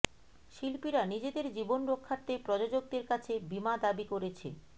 শিল্পীরা নিজেদের জীবন রক্ষার্থে প্রযোজকদের কাছে বীমা দাবি করেছে